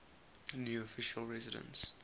new official residence